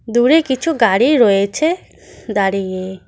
দূরে কিছু গাড়ি রয়েছে দাঁড়িয়ে।